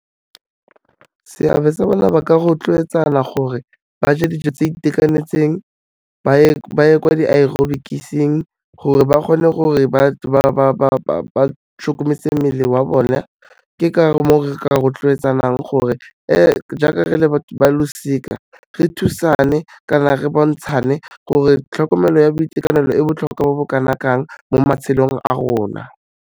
Seabe sa bona ba ka rotloetsana gore ba je dijo tse itekanetseng, ba ye kwa di-aerobics-eng gore ba kgone gore ba mmele wa bone, ke ka mo re ka rotloetsanang gore e jaaka re le ba losika re thusane kana re bontshane gore tlhokomelo ya boitekanelo e botlhokwa bo bo kana kang mo matshelong a rona.